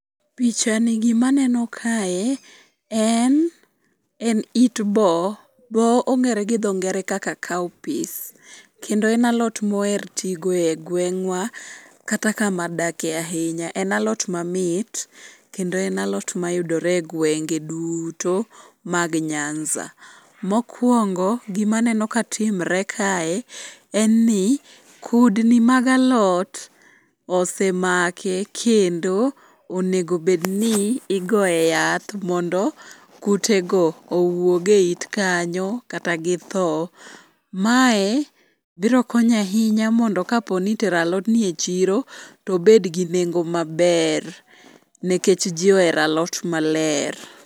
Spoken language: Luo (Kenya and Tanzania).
Pichani gimaneno kae en it bo. Bo ong'ere gi dho ngere kaka cowpeas, kendo en alot moher tigo e gweng'wa kata kama adake ahinya en alot mamit kendo en alot mayudore e gwenge duto mag nyanza. Mokwongo gimaneno katimre kae en ni kudni mag alot osemake kendo onegobedni igoye yath mondo kutego owuog e it kanyo kata githo. Mae birokonyo ahinya mondo kapo ni itero alodni e chiro tobedgi nengo maber nikech ji ohero alot maler.